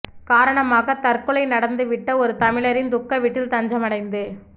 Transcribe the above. காரணமாகத் தற்கொலை நடந்து விட்ட ஒரு தமிழரின் துக்க வீட்டில் தஞ்சமடைந்து